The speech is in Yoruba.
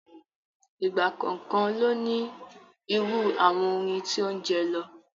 Ìgbà kọ̀ọ̀kan ló ní irú àwọn orin tí ó ń jẹ lọ.